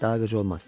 Daha qıcı olmaz.